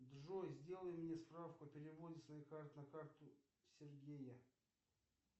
джой сделай мне справку о переводе с моей карты на карту сергея